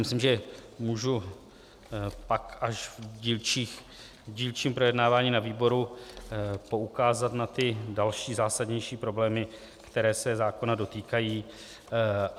Myslím, že můžu pak až v dílčím projednávání na výboru poukázat na ty další zásadnější problémy, které se zákona dotýkají.